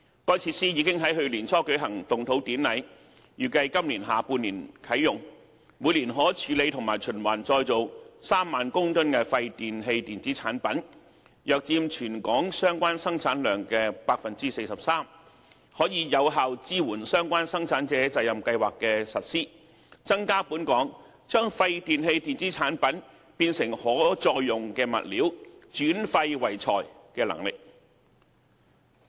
該設施已於去年年初舉行動土典禮，預計今年下半年啟用，每年可處理和循環再造3萬公噸廢電器電子產品，約佔全港相關生產量的 43%， 可有效支援相關生產者責任計劃的實施，增加本港將廢電器電子產品變成可再用物料，轉廢為材的能力。